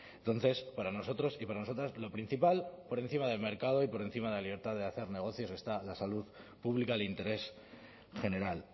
entonces para nosotros y para nosotras lo principal por encima del mercado y por encima de la libertad de hacer negocios está la salud pública el interés general